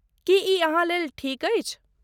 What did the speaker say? की ई अहाँ लेल ठीक अछि?